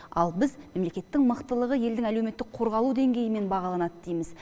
ал біз мемлекеттің мықтылығы елдің әлеуметтік қорғалу деңгейімен бағаланады дейміз